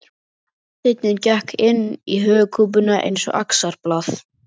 Steinninn gekk inn í höfuðkúpuna eins og axarblað.